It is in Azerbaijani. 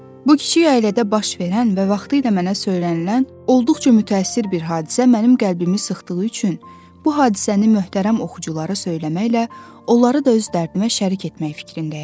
Bu kiçik ailədə baş verən və vaxtilə mənə söylənilən olduqca mütəəssir bir hadisə mənim qəlbimi sıxdığı üçün bu hadisəni möhtərəm oxuculara söyləməklə onları da öz dərdimə şərik etmək fikrindəyəm.